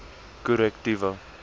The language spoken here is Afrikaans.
korrektiewe